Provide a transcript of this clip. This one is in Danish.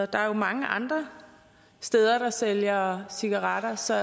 der er jo mange andre steder der sælger cigaretter så